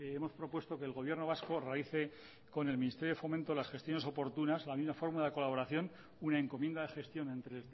hemos propuesto que el gobierno vasco realice con el ministerio de fomento las gestiones oportunas la misma fórmula de colaboración una encomienda de gestión entre